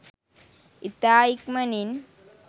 ඉතා ඉක්මණින්